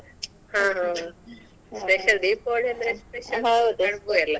ಹಾ ಹಾ special Deepavali ಅಂದ್ರೆ special ಇಲ್ಲಾ.